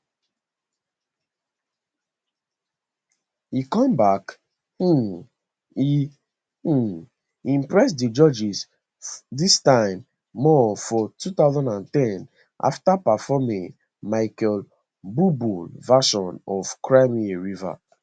e come back um e um impress di judges dis time more for 20 ten after performing michael buble version of cry me a river